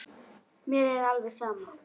Mér er alveg sama